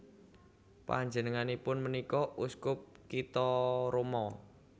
Panjenenganipun punika uskup kitha Roma